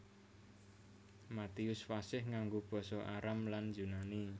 Matius fasih nganggo basa Aram lan Yunani